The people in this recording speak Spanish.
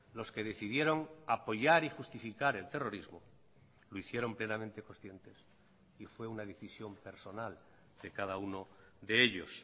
los que decidieron apoyar y justificar el terrorismo lo hicieron plenamente conscientes y fue una decisión personal de cada uno de ellos